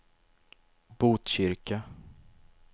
Botkyrka